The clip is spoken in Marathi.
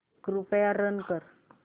कृपया रन कर